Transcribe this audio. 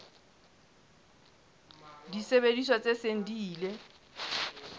disebediswa tse seng di ile